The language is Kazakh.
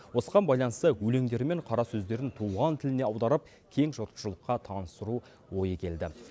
осыған байланысты өлеңдері мен қарасөздерін туған тіліне аударып кең жұртшылыққа таныстыру ойы келді